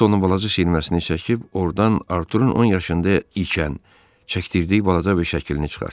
Onun balaca şiirməsini çəkib, ordan Arturun 10 yaşında ikən çəkdirdiyi balaca bir şəklini çıxartdı.